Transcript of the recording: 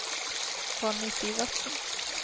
Ronny Sivertsen